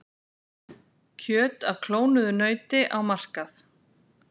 Kjöt af klónuðu nauti á markað